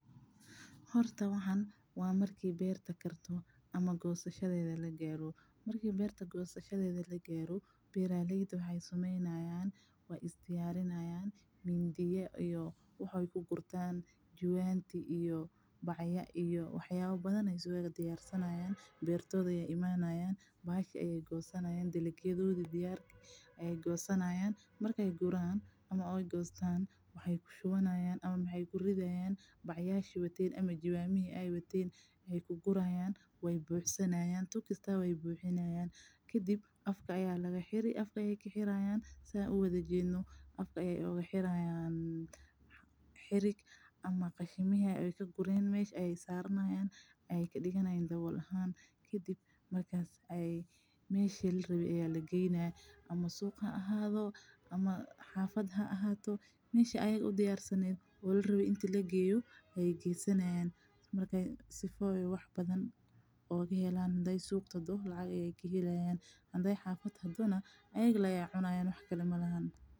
Horta waxan waa marki beerta aay karto ama gosashada lagaaro beeraleyda waay is diyaarinayaan mindiya iyo jwaama beerta ayeey imanayaan waxooda ayeey gosanyaan kadib jwaama ayeey kuridaayan kadib qashinki ayeey dawool ooga digayaan kadib waa la qaada suuqa ayaa lageyna lacag ayeey kahelayaan hadii kalena xafada ayaa lageyna waa la cunaa.